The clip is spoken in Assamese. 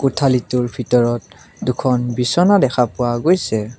কোঠালীটোৰ ভিতৰত দুখন বিছনা দেখা পোৱা গৈছে।